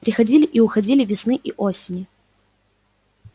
приходили и уходили весны и осени